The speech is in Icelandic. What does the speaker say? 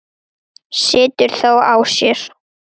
Situr þó á sér.